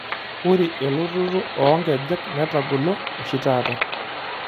Ore elototo oonkejek netagolo oshi taata .